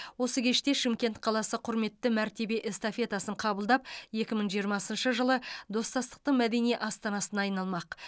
осы кеште шымкент қаласы құрметті мәртебе эстафетасын қабылдап екі мың жиырмасыншы жылы достастықтың мәдени астанасына айналмақ